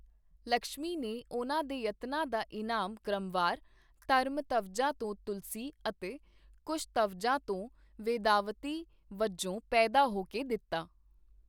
ਲਕਸ਼ਮੀ ਨੇ ਉਹਨਾਂ ਦੇ ਯਤਨਾਂ ਦਾ ਇਨਾਮ ਕ੍ਰਮਵਾਰ ਧਰਮਧਵਜਾ ਤੋਂ ਤੁਲਸੀ ਅਤੇ ਕੁਸ਼ਧਵਜਾ ਤੋਂ ਵੇਦਾਵਤੀ ਵਜੋਂ ਪੈਦਾ ਹੋ ਕੇ ਦਿੱਤਾ।